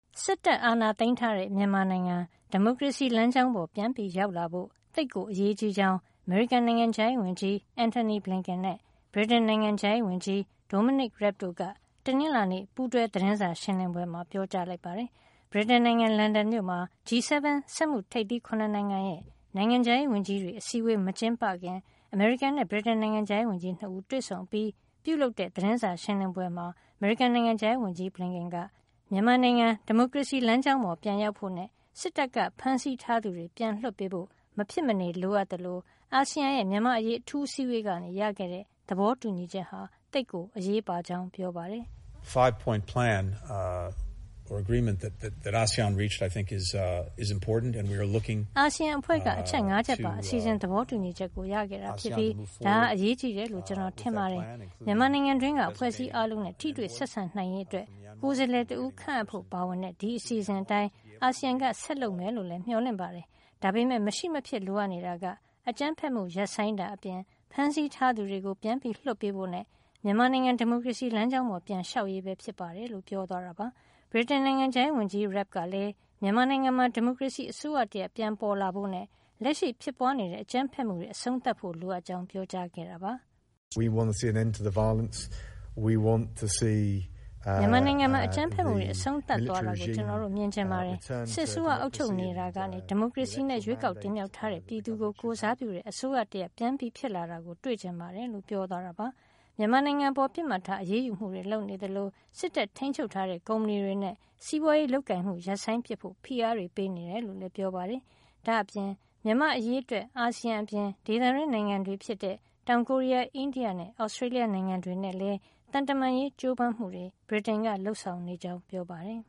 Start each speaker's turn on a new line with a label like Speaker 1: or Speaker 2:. Speaker 1: စစ်တပ်အာဏာသိမ်းထားတဲ့ မြန်မာနိုင်ငံ ဒီမိုကရေစီ လမ်းကြောင်းပေါ် ပြန်ရောက်လာဖို့ သိပ်ကိုအရေးကြီးကြောင်း အမေရိကန်နိုင်ငံခြားရေးဝန်ကြီး Antony Blinken နဲ့ ဗြိတိန်နိုင်ငံခြားရေးဝန်ကြီး Dominic Raab တို့က တနင်္လာနေ့ ပူးတွဲသတင်းစာရှင်းလင်းပွဲမှာ ပြောကြားလိုက်ပါတယ်။ ဗြိတိန်နိုင်ငံ လန်ဒန်မြို့မှာ G 7 စက်မှုထိပ်သီး ၇ နိုင်ငံရဲ့ နိုင်ငံခြားရေးဝန်ကြီးတွေ အစည်းအဝေး မကျင်းပခင် အမေရိကန်နဲ့ ဗြိတိန် နိုင်ငံခြားရေးဝန်ကြီး ၂ ဦး တွေ့ဆုံအပြီးပြုလုပ်တဲ့ သတင်းစာရှင်းလင်းပွဲမှာ အခုလို ပြောကြားလိုက်တာပါ။ အမေရိကန်နိုင်ငံခြားရေးဝန်ကြီး Blinken က မြန်မာနိုင်ငံ ဒီမိုကရေစီလမ်းကြောင်းပေါ် ပြန်ရောက်ဖို့နဲ့ စစ်တပ်က ဖမ်းဆီးထားသူတွေ ပြန်လွှတ်ပေးဖို့ မဖြစ်မနေ လိုအပ်သလို အာဆီယံရဲ့မြန်မာ့အရေးအထူးအစည်းအဝေးကနေ ရခဲ့တဲ့ သဘောတူညီချက်ဟာ သိပ်အရေးပါကြောင်း ပြောပါတယ်။ "အာဆီယံအဖွဲ့က အချက် ၅ ချက်ပါ အစီစဉ်- သဘောတူညီချက်ကို ရခဲ့တာ ဖြစ်ပြီး ဒါဟာ အရေးကြီးတယ်လို့ ကျနော်ထင်ပါတယ်။ မြန်မာနိုင်ငံတွင်းက အဖွဲ့အစည်းအားလုံးနဲ့ ထိတွေ့ဆက်ဆံနိုင်ရေးအတွက် ကိုယ်စားလှယ်တဦး ခန့်အပ်ဖို့ ပါပါဝင်တဲ့ ဒီအစီအစဉ်အတိုင်း အာဆီယံက ဆက်လက်လုပ်မယ်လို့လည်း မျှော်လင့်ပါတယ်။ ဒါပေမယ့် မရှိမဖြစ် လိုအပ်နေတာက အကြမ်းဖက်မှုရပ်ဆိုင်းတာအပြင် ဖမ်းဆီးထားသူတွေကို ပြန်လွှတ်ပေးဖို့နဲ့ မြန်မာနိုင်ငံ ဒီမိုကရေစီ လမ်းကြောင်းပေါ် ပြန်လျှောက်ရေးပဲ ဖြစ်ပါတယ် လို့ ပြောသွားတာပါ။ ဗြိတိန်နိုင်ငံခြားရေးဝန်ကြီး Raab ကလည်း မြန်မာနိုင်ငံမှာ ဒီမိုကရေစီအစိုးရတရပ် ပြန်ပေါ်လာဖို့နဲ့ လက်ရှိဖြစ်ပွါးနေတဲ့ အကြမ်းဖက်မှုတွေ အဆုံးသတ်ဖို့ လိုအပ်ကြောင်း ပြောကြားခဲ့ပါတယ်။ "မြန်မာနိုင်ငံမှာ အကြမ်းဖက်မှုတွေ အဆုံးသတ်သွားတာကို ကျနော်တို့ မြင်ချင်ပါတယ်။ စစ်အစိုးရ အုပ်ချုပ်နေတာကနေ ဒီမိုကရေစီနဲ့ ရွေးကောက်တင်မြှောက်ထားတဲ့ ပြည်သူကို ကိုယ်စားပြုတဲ့ အစိုးရတရပ် ပြန်ဖြစ်လာတာကိုလည်း ကျနော်တို့တွေ့ချင်ပါတယ်" လို့ ပြောသွားတာပါ။ မြန်မာနိုင်ငံအပေါ် ပစ်မှတ်ထား အရေးယူမှုတွေ လုပ်နေသလို စစ်တပ်ထိမ်းချုပ်ထားတဲ့ ကုမ္ပဏီတွေနဲ့ စီးပွါးရေးလုပ်ကိုင်မှု ရပ်ဆိုင်းပစ်ဖို့ ဖိအားတွေ ပေးနေတယ်လို့လည်း ပြောပါတယ်။ ဒါ့အပြင် မြန်မာ့အရေးအတွက် အာဆီယံအပြင် ဒေသတွင်းနိုင်ငံတွေဖြစ်တဲ့ တောင်ကိုရီးယား၊ အိန္ဒိယနဲ့ Australia နိုင်ငံတွေနဲ့လည်း သံတမန်ရေးကြိုးပမ်းမှုတွေ ဗြိတိန်က လုပ်ဆောင်နေကြာင်း လည်းပြောပါတယ်။